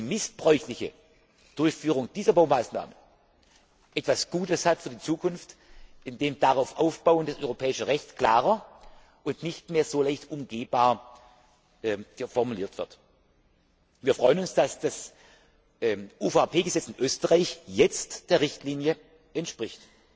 Die missbräuchliche Durchführung dieser Baumaßnahme hat im Grunde genommen etwas Gutes für die Zukunft, weil darauf aufbauend das europäische Recht klarer und nicht mehr so leicht umgehbar formuliert wird. Wir freuen uns, dass das UVP Gesetz in Österreich jetzt der Richtlinie entspricht.